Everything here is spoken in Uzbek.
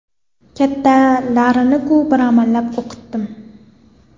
Kattalarini-ku bir amallab o‘qitdim.